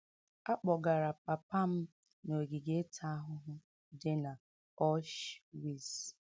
A kpọgara papa m n’ogige ịta ahụhụ dị n’Auschwitz.